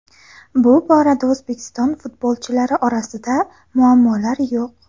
Bu borada O‘zbekiston futbolchilari orasida muammolar yo‘q.